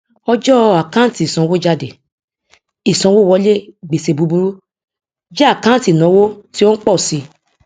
ọjọ àkáǹtì ìsanwójádé ìsanwówọlé gbèsè búburú jẹ àkáǹtì ìnáwó tí ó ń pọ sí